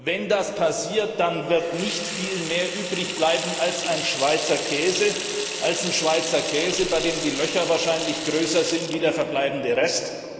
Wenn das passiert, dann wird nicht viel mehr übrig bleiben als ein Schweizer Käse, bei dem die Löcher wahrscheinlich größer sind als der verbleibende Rest.